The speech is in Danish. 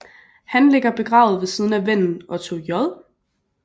Han ligger begravet ved siden af vennen Otto J